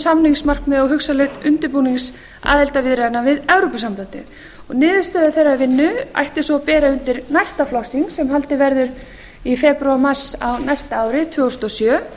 samningsmarkmiða og hugsanlegs undirbúnings aðildarviðræðna við evrópusambandið niðurstöður þeirrar vinnu ætti svo að bera undir næsta flokksþing sem haldið verður í febrúar mars á næsta ári tvö þúsund og sjö